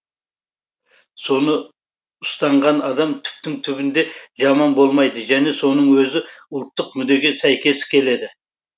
соны ұстанған адам түптің түбінде жаман болмайды және соның өзі ұлттық мүддеге сәйкес келеді